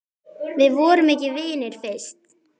Við vorum ekki vinir fyrst.